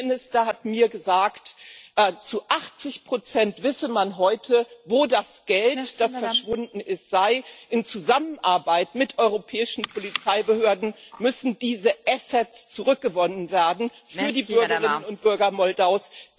Der Premierminister hat mir gesagt, zu 80 wisse man heute, wo das Geld, das verschwunden ist, sei. In Zusammenarbeit mit europäischen Polizeibehörden müssen diese Assets zurückgewonnen werden für die Bürgerinnen und Bürger Moldaus.